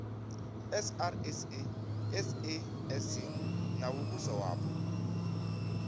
srsa sasc na muvhuso wapo